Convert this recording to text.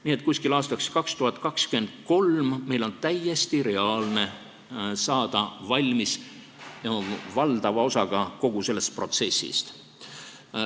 Nii et umbes aastaks 2023 on täiesti reaalne saada kogu selle protsessi valdava osaga valmis.